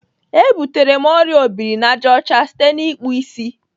E butere m ọrịa obirinajọcha site n'ịkpụ isi